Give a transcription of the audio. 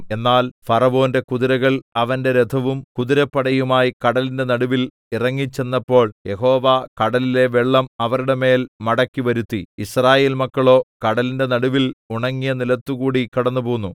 എന്നാൽ ഫറവോന്റെ കുതിരകൾ അവന്റെ രഥവും കുതിരപ്പടയുമായി കടലിന്റെ നടുവിൽ ഇറങ്ങിച്ചെന്നപ്പോൾ യഹോവ കടലിലെ വെള്ളം അവരുടെ മേൽ മടക്കിവരുത്തി യിസ്രായേൽമക്കളോ കടലിന്റെ നടുവിൽ ഉണങ്ങിയ നിലത്തുകൂടി കടന്നുപോന്നു